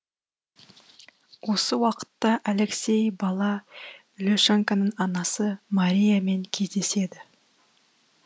осы уақытта алексей бала ле шеньканың анасы мария мен кездеседі